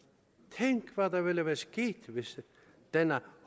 tænk hvad der ville være sket hvis denne